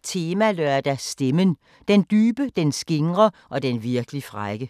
15:40: Temalørdag: Stemmen – den dybe, den skingre og den virkelig frække *